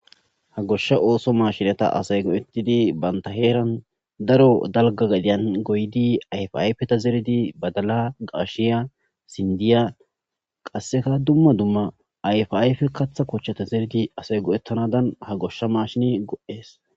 ha goshsha ooso maashinata asay go7ettidi banta heeran daro dalga gadiyan goydi ayfayfeta zeridi badala gaashiya sindiya qasseka dumma dumma ayfayfe katha kochchata zeridi asay go7ettanadan ha goshsha mashin go7ees